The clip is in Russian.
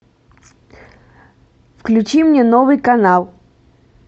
включи мне новый канал